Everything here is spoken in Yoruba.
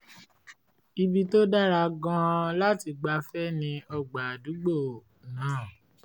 ibi tó dára gan-an láti gbafẹ́ ni ọgbà àdùgbó náà